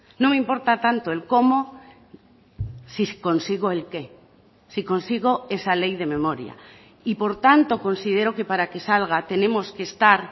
no me importa tanto el cómo si consigo el qué si consigo esa ley de memoria y por tanto considero que para que salga tenemos que estar